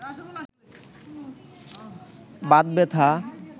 বাত ব্যাথা